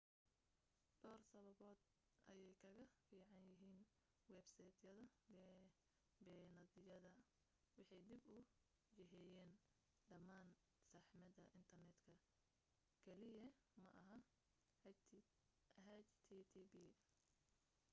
dhowr sababood ayay kaga fiican yihiin websayd beenaadyada waxay dib u jiheeyaan dhammaan saxmadda internetka keliya maaha http